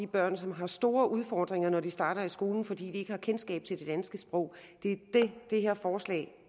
børn som har store udfordringer når de starter i skolen fordi de ikke har kendskab til det danske sprog det er det det her forslag